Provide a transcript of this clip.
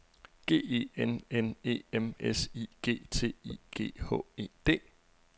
G E N N E M S I G T I G H E D